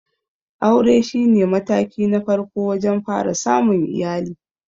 Aure shi ne mataki na farko wajen fara samun iyali.